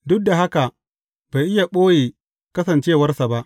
Duk da haka, bai iya ɓoye kasancewarsa ba.